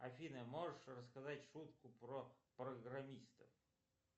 афина можешь рассказать шутку про программистов